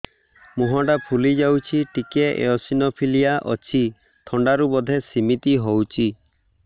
ମୁହଁ ଟା ଫୁଲି ଯାଉଛି ଟିକେ ଏଓସିନୋଫିଲିଆ ଅଛି ଥଣ୍ଡା ରୁ ବଧେ ସିମିତି ହଉଚି